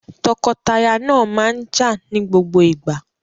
Tọkọtaya náà máa ń jà ní gbogbo ìgbà.